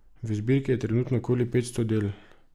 V zbirki je trenutno okoli petsto del.